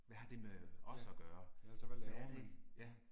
Hvad har det med os at gøre hvad er det, ja